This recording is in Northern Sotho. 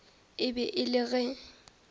e be e le ge